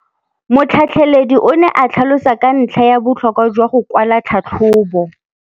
Motlhatlheledi o ne a tlhalosa ka ntlha ya botlhokwa jwa go kwala tlhatlhôbô.